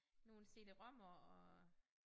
Nogle cd-rom'er og